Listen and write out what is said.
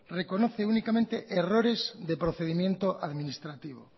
reconoce únicamente errores de procedimiento administrativo